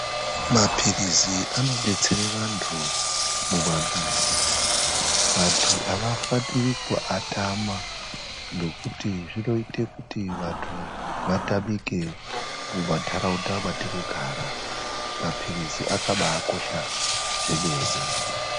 Maphirizi anobetsere vanhtu mumamizi. Vantu havafaniri kuatama nekuti zvinoite kuti vanhtu vatamike kumanharaunda kwatinogara Maphirizi akabaakosha zvemene.